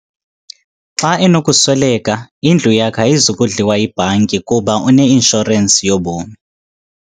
Xa enokusweleka indlu yakhe ayizi kudliwa yibhanki kuba une-inshorensi yobomi.